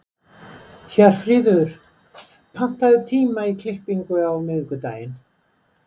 Hjörfríður, pantaðu tíma í klippingu á miðvikudaginn.